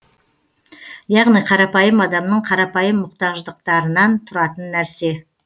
яғни қарапайым адамның қарапайым мұқтаждықтарынан тұратын нәрсе